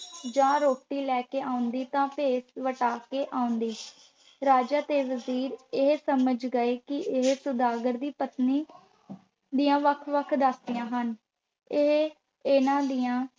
ਜਾਂ ਰੋਟੀ ਲੈ ਕੇ ਆਉਂਦੀ ਤਾਂ ਭੇਸ ਵਟਾ ਕੇ ਆਉਂਦੀ। ਰਾਜਾ ਤੇ ਵਜ਼ੀਰ ਇਹ ਸਮਝੀ ਗਏ ਕਿ ਇਹ ਸੁਦਾਗਰ ਦੀ ਪਤਨੀ ਦੀਆਂ ਵੱਖ-ਵੱਖ ਦਾਸੀਆਂ ਹਨ ਅਤੇ ਇਹਨਾਂ ਦੀਆਂ